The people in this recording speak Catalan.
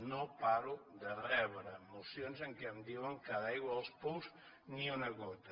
no paro de rebre mocions en què em diuen que de l’aigua dels pous ni una gota